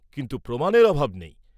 কিন্তু প্রমাণের অভাব নেই।